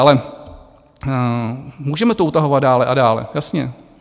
Ale můžeme to utahovat dál a dál, jasně.